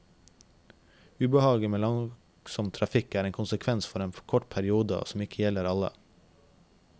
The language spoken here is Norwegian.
Ubehaget med langsom trafikk er en konsekvens for en kort periode og som ikke gjelder alle.